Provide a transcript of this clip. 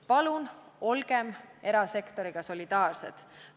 Palun olgem erasektoriga solidaarsed!